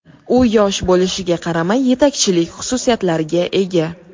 U yosh bo‘lishiga qaramay yetakchilik xususiyatlariga ega”.